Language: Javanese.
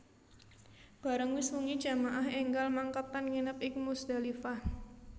Bareng wis wengi jamaah énggal mangkat lan nginep ing Muzdalifah